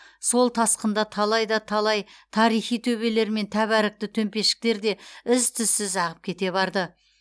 сол тасқында талай да талай тарихи төбелер мен тәбәрікті төмпешіктер де із түзсіз ағып кете барды